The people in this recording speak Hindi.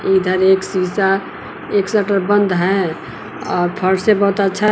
इधर एक शीशा एक शटर बंद है अ फर्श बहुत अच्छा--